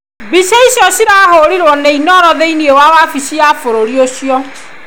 Mbica icio cirahũrirwo nĩ Inooro thĩ-inĩ wa wabici wa bũrũri ũcio.